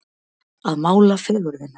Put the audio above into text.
Að mála fegurðina